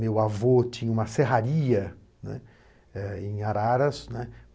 Meu avô tinha uma serraria, né em Araras, né.